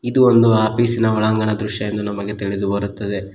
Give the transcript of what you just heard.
ಇದು ಒಂದು ಆಫೀಸಿನ ಒಳಂಗಣ ದೃಶ್ಯ ಎಂದು ನಮಗೆ ತಿಳಿದು ಬರುತ್ತದೆ.